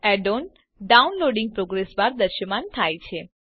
add on downloading progress bar દ્રશ્યમાન થાય છે